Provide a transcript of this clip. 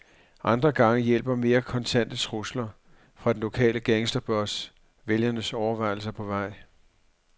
Andre gange hjælper mere kontante trusler, fra den lokale gangsterboss, vælgerens overvejelser på vej.